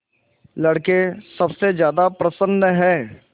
लड़के सबसे ज्यादा प्रसन्न हैं